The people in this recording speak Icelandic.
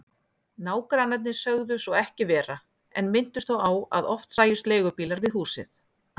Nágrannarnir sögðu svo ekki vera en minntust þó á að oft sæjust leigubílar við húsið.